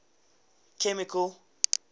chemical